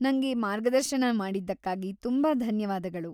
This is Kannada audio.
ನಂಗೆ ಮಾರ್ಗದರ್ಶನ ಮಾಡಿದ್ದಕ್ಕಾಗಿ ತುಂಬಾ ಧನ್ಯವಾದಗಳು.